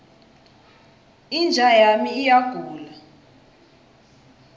inja yami iyagula